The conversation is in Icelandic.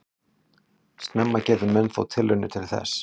Snemma gerðu menn þó tilraunir til þess.